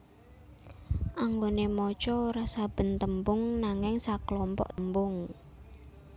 Anggone maca ora saben tembung nanging saklompok tembung